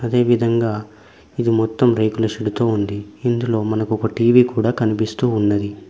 అదే విధంగా ఇది మొత్తం రేకుల షెడ్డుతో ఉంది ఇందులో మనకు ఒక టీవీ కూడా కనిపిస్తూ ఉన్నది.